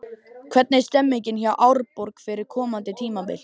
Hvernig er stemningin hjá Árborg fyrir komandi tímabil?